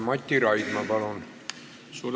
Mati Raidma, palun!